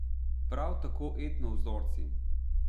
Prav tako etno vzorci.